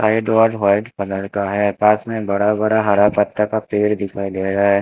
Side wall white colour का है पास में बड़ा बड़ा हरा पत्ता का पेड़ दिखाई दे रहा है।